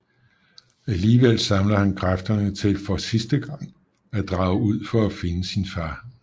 Alligevel samler han kræfterne til for sidste gang at drage ud for at finde sin far